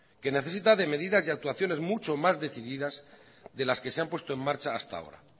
que necesita de medidas y actuaciones mucho más decididas de las que se han puesto en marcha hasta ahora